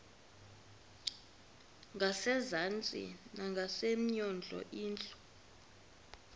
ngasezantsi ngasemnyango indlu